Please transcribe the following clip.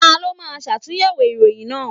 Ta ló máa ṣàtúnyẹ̀wò ìròyìn náà?